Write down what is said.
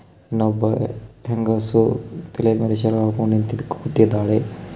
ಇನ್ನೊಬ್ಬ ಹೆಂಗಸು ತಲೆ ಮೇಲೆ ಸೆರಗಾಕೊಂಡು ನಿಂತ್ ಕುಂತಿದ್ದಾಳೆ.